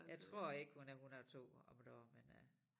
Jeg tror ikke hun er 102 om et år men øh